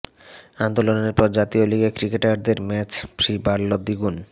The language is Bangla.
আন্দোলনের পর জাতীয় লিগে ক্রিকেটারদের ম্যাচ ফি বাড়ল দ্বিগুণ